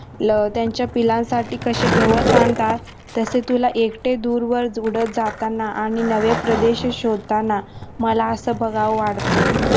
त्यांच्या पिल्लांसाठी कसे गवत आणतात तसे तुला एक ते दूरवर उडत जाताना आणि नव्या प्रदेश शोधतांना मला असं बघावं वाढत.